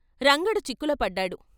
రంగడు చిక్కులో పడ్డాడు.